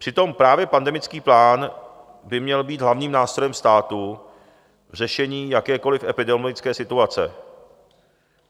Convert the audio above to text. Přitom právě pandemický plán by měl být hlavním nástrojem státu v řešení jakékoliv epidemiologické situace.